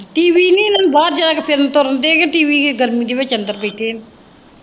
TV ਨਾ ਲਾਈ ਬਾਹਰ ਜਰਾ ਫਿਰਨ ਤੁਰਨ ਦੇ ਹੈ ਤੁਸੀ ਵੀ ਕੀ ਗਰਮੀ ਦੇ ਵਿੱਚ ਅੰਦਰ ਬੈਠੇ ਹੈ।